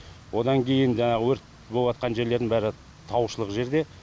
одан кейін жаңағы өрт болыватқан жерлердің бәрі таушылық жерде